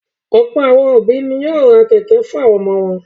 Ọ̀pọ̀ àwọn òbí ni yóò ra kẹ̀kẹ́ fún àwọn ọmọ wọn.